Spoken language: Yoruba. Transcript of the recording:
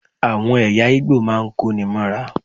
Àwọn ẹ̀yà Ìgbò máa ń kó ní móra.